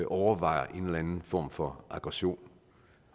overvejer en eller anden form for aggression